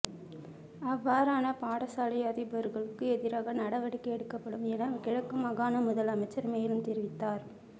அவ்வாறான பாடசாலை அதிபர்களுக்கு எதிராக நடவடிக்கை எடுக்கப்படும் என கிழக்கு மாகாண முதலமைச்சர் மேலும் தெரிவித்தார்